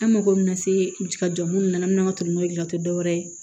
An mago bɛna se ka jɔ minnu na an bɛna tɛmɛ n'o ye tɛ dɔwɛrɛ ye